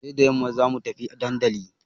Sai da yamma za mu tafi dandali.